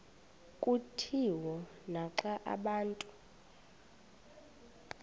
kutshiwo naxa abantu